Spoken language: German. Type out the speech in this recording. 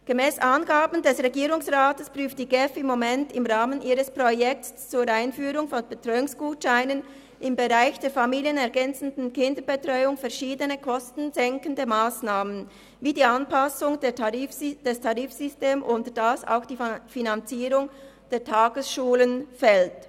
Gemäss Angaben des Regierungsrats prüft die GEF im Moment im Rahmen ihres Projekts zur Einführung von Betreuungsgutscheinen im Bereich der familienergänzenden Kinderbetreuung verschiedene kostensenkende Massnahmen wie die Anpassung des Tarifsystems, worunter auch die Finanzierung der Tagesschulen fällt.